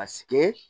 Asɛ